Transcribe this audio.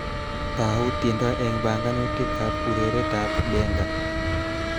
Tau tiendo eng banganutikab ureretab Benga